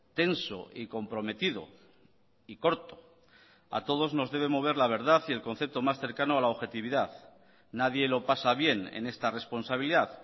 tenso y comprometido y corto a todos nos debe mover la verdad y el concepto más cercano a la objetividad nadie lo pasa bien en esta responsabilidad